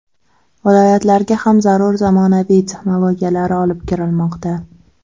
Viloyatlarga ham zarur zamonaviy texnologiyalar olib kirilmoqda.